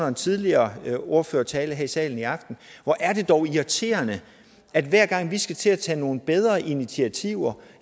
en tidligere ordførertale her i salen i aften hvor er det dog irriterende at hver gang vi skal til at tage nogle bedre initiativer